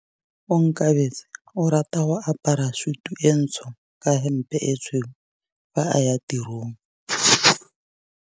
Onkabetse o rata go apara sutu e ntsho ka hempe e tshweu fa a ya tirong.